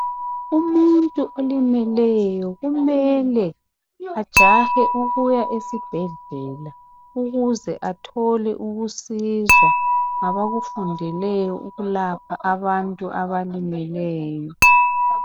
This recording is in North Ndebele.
Umuntu olimeleyo kumele ajahe ukuya esibhedlela ukuze athole ukusizwa ngabakufundeleyo ukulapha abantu abalimeleyo.